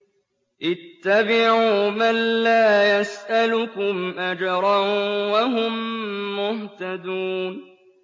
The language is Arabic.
اتَّبِعُوا مَن لَّا يَسْأَلُكُمْ أَجْرًا وَهُم مُّهْتَدُونَ